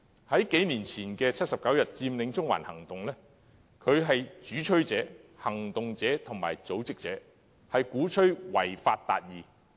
在數年前的79天佔領中環行動中，他不單是主催者，也是行動者和組織者，鼓吹違法達義。